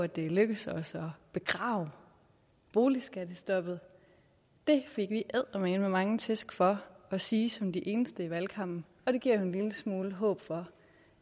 det er lykkedes os at begrave boligskattestoppet det fik vi eddermame mange tæsk for at sige som de eneste i valgkampen og det giver jo en lille smule håb for